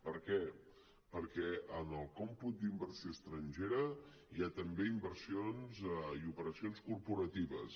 per què perquè en el còmput d’inversió estrangera hi ha també inversions i operacions corporatives